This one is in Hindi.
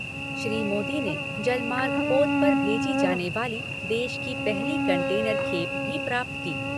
श्री मोदी ने जलमार्ग पोत पर भेजी जाने वाली देश की पहली कंटेनर खेप भी प्राप्त की।